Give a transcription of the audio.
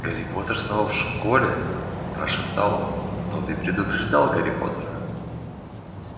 гарри поттер снова в школе прошептал он добби предупреждал гарри поттера